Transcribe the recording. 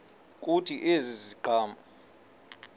kuthi ezi ziqhamo